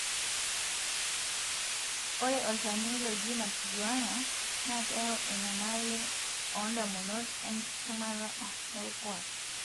ore olchani looji marijuana na keyau enyamali ondamunot, enkisumata olkuak.